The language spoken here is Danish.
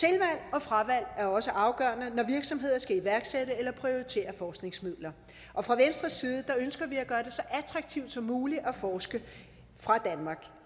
og fravalg er også afgørende når virksomheder skal iværksætte eller prioritere forskningsmidler og fra venstres side ønsker vi at gøre det så attraktivt som muligt at forske